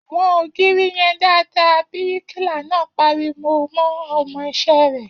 Wọn ògiri yẹn dáadáa!, bíríkìlà náà pariwo mọ́ ọmọ iṣẹ́ rẹ̀